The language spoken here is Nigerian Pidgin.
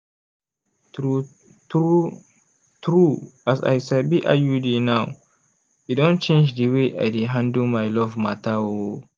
true true true as i sabi iud now e don change d way i dey handle my love matter oh.